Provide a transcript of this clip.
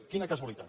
quina casualitat